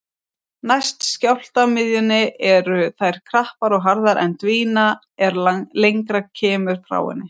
Næst skjálftamiðjunni eru þær krappar og harðar en dvína er lengra kemur frá henni.